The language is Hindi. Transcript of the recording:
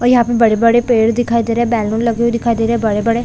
और यहाँ पे बड़े-बड़े पेड़ दिखाई दे रहे है बैलून लगे हुए दिखाई दे रहे है बड़े-बड़े--